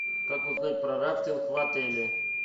как узнать про рафтинг в отеле